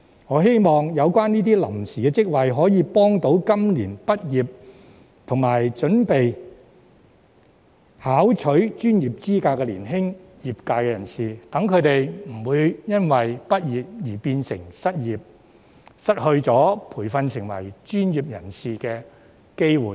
我希望這些臨時職位能幫助今年畢業並準備考取專業資格的年輕業界人士，讓他們不會因畢業而變成失業，失去接受培訓成為專業人士的機會。